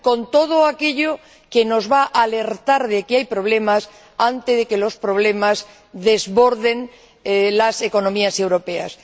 Es decir, con todo aquello que nos va a alertar de que hay problemas antes de que los problemas desborden a las economías europeas.